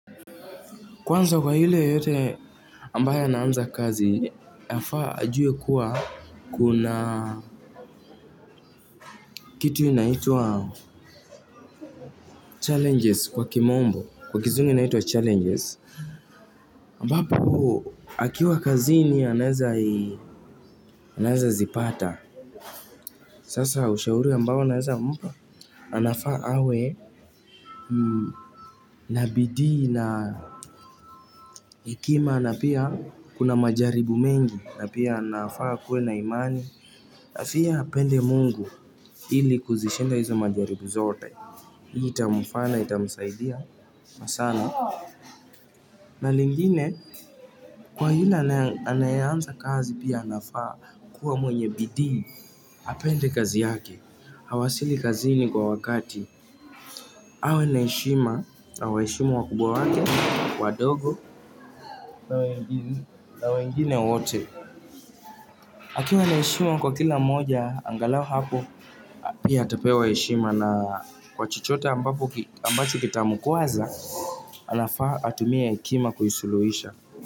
Kwanza kwa yule yoyote ambae anaanza kazi, anafaa ajue kuwa kuna kitu inaitwa challenges kwa kimombo, kwa kizungu inaitwa challenges. Ambapo, akiwa kazini anaweza zipata. Sasa ushauri ambao naweza mpa anafaa awe na bidii na hekima na pia kuna majaribu mengi na pia anafaa kua na imani asie apende Mungu ili kuzishinda hizo majaribu zote hii itamfaa na itanisaidia masaa na na lingine kwa yule anaeanza kazi pia anafaa kua mwenye bidii apende kazi yake awasili kazini kwa wakati awe na heshima awaheshimu wakubwa wake wadogo na wengine wote akiwa na heshima kwa kila mmoja angalau hapo pia atapewa heshima na kwa chochote ambacho kitamkwaza anafaa atumie hekima kuisuluhisha.